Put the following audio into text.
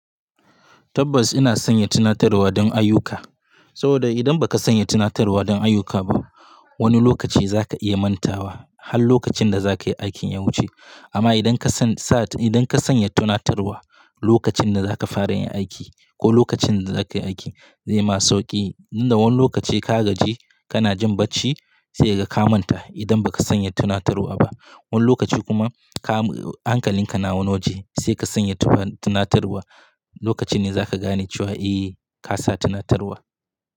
Tabbas ina sanya tunatarwa dan ayyuka. Sabida idan baka sanya tunatarwa dan ayyuka ba, wani lokaci zaka iya mantawa har lokacin da zaka yi aikin ya wuce. Amma idan ka san sa, idan ka sanya tunatarwa lokacin da zaka fara yin aiki ko lokacin da zaka yi aikin, zai ma sauƙi. Tunda wani lokaci ka gaji kana jin barci sai ka manta idan baka sanya tunatarwa ba. Wani lokaci kuma ka hankalinka na wani waje sai ka sanya tunatarwa, lokaci ne zaka gane cewa eh kasa tunatarwa.